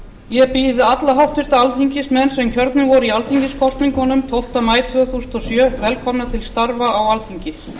ég býð alla háttvirta alþingismenn sem kjörnir voru í alþingiskosningunum tólfta maí tvö þúsund og sjö velkomna til starfa á alþingi